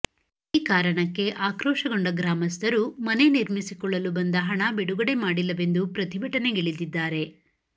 ಈ ಕಾರಣಕ್ಕೆ ಆಕ್ರೋಶಗೊಂಡ ಗ್ರಾಮಸ್ಥರು ಮನೆ ನಿರ್ಮಿಸಿಕೊಳ್ಳಲು ಬಂದ ಹಣ ಬಿಡುಗಡೆ ಮಾಡಿಲ್ಲವೆಂದು ಪ್ರತಿಭಟನೆಗಿಳಿದಿದ್ದಾರೆ